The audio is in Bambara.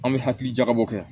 An bɛ hakili jagabɔ kɛ